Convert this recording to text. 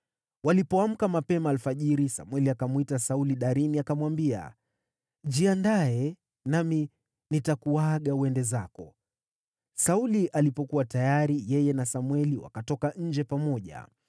Walipoamka mapema alfajiri, Samweli akamwita Sauli darini, akamwambia, “Jiandae, nami nitakuaga uende zako.” Sauli alipokuwa tayari yeye na Samweli wakatoka nje pamoja.